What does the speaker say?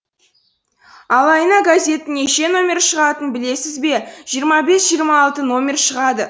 ал айына газеттің неше номері шығатынын білесің бе жиырма бес жиырма алты номері шығады